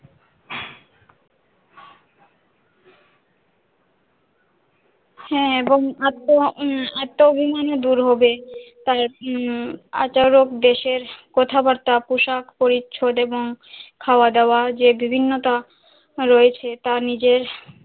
হ্যাঁ এবং আত্ম উম আত্ম অভিমানও দূর হবে, তার উম আচরণ দেশের কথাবাত্রা পোশাক পরিচ্ছন্ন এবং খাওয়া-দাওয়া, যে বিভিন্নতা রয়েছে তা নিজের,